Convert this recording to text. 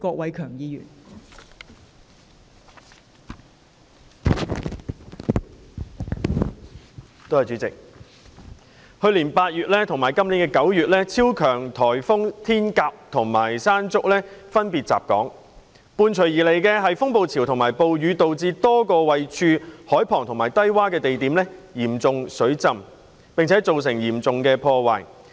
代理主席，去年8月及本年9月，超強颱風天鴿和山竹分別襲港，伴隨而來的風暴潮和暴雨導致多個位處海旁及低窪的地點嚴重水浸，並造成嚴重破壞。